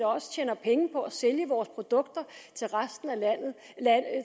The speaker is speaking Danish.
også tjener penge på at sælge produkter